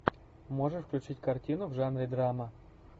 можешь включить картину в жанре драма